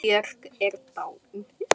Björk er dáin.